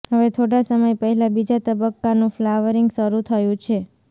હવે થોડા સમય પહેલા બીજા તબક્કાનું ફલાવરિંગ શરૂ થયુ છે